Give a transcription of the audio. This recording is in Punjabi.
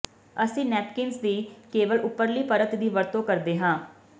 ਅਸੀਂ ਨੈਪਕਿਨਸ ਦੀ ਕੇਵਲ ਉੱਪਰਲੀ ਪਰਤ ਦੀ ਵਰਤੋਂ ਕਰਦੇ ਹਾਂ